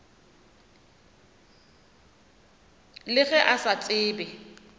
le ge a sa tsebe